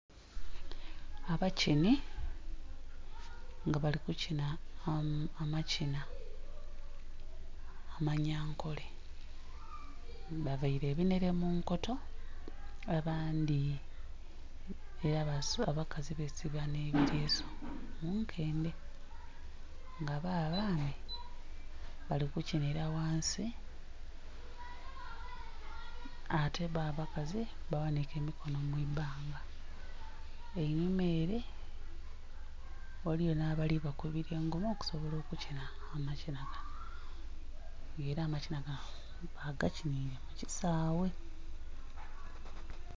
Abakinhi nga bali kukinha amakinha amanyankole bavaile ebinhere munkoto abandhi abakazi besiba nhilesu munkendhe nga boo abaana bali kukinhila ghansi ate boo abakazi baghanhike emikono mwibanga, enhuma ere ghaligho nha bali bakubbila engoma okusobola okukinha amakinha nga era makinha bagakinhile kukisaghe.